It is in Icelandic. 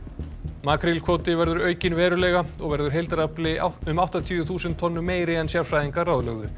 makrílkvóti verður aukinn verulega og verður heildarafli um áttatíu þúsund tonnum meiri en sérfræðingar ráðlögðu